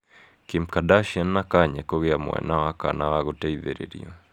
Kim Kardarshian na Kanye kũgĩa mwana wa kana, wa gũteithĩrĩrio.